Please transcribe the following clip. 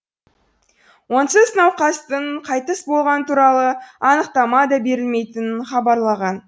онсыз науқастың қайтыс болғаны туралы анықтама да берілмейтінін хабарлаған